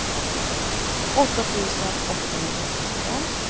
åtta tusen åttahundratretton